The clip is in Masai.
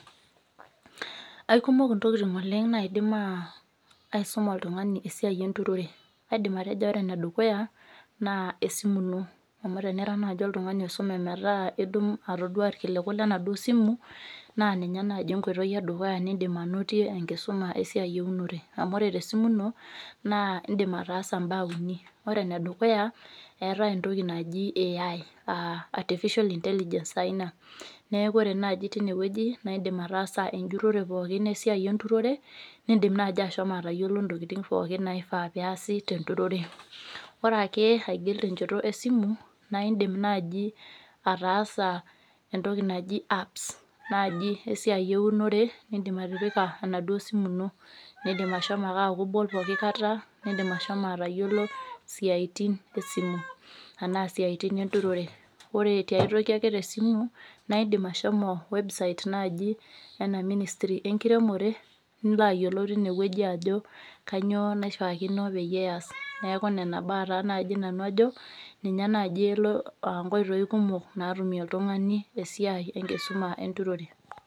Aikumok ntokitin oleng naidim aisuma oltungani esiai enturore aidim atejo ore endukuya na esimu ino amu tenira nai oltungani oisume metaabitmdip atadua irkiliku lenasimu na ninye enkoitoi edukua nindim ainotie enkisuma eurmnore amu ore tesimu ino na indim ataasa mbaa uni ore enedukuya eetae entoki naji AI aa artificial intelligence taa ina neaku ore tinewueji na kaidim enjurore pookin esiai enturore nindim nai ashomo atayilo ntokitin pookin naifaa peasi tenturore ore ake aigil tenchoto esimu na indim nai ataasa entoki naji apps esiai eunore nindim atipika enaduo simu ino indima ake nilo nibol pooki kata indim ashomo atayiolo siatini esimu anaa siatin enturore, ore si aitoki tesimu na indim ashomo[website nai ena ministry enkiremore nilo ayiolou tinewueji ajobkanyio naishaakino peyie easi neaku nona baa nai nanu ajo elo aa nkoitoi kumok natumieb oltungani esiai enkisuma enturore.